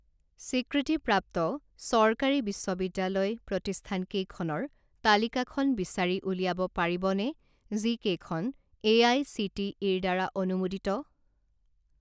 স্বীকৃতিপ্ৰাপ্ত চৰকাৰী বিশ্ববিদ্যালয় প্ৰতিষ্ঠানকেইখনৰ তালিকাখন বিচাৰি উলিয়াব পাৰিবনে যিকেইখন এ আই চি টি ইৰ দ্বাৰা অনুমোদিত?